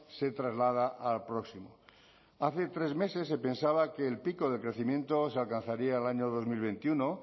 se traslada al próximo hace tres meses se pensaba que el pico de crecimiento se alcanzaría el año dos mil veintiuno